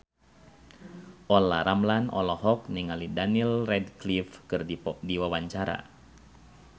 Olla Ramlan olohok ningali Daniel Radcliffe keur diwawancara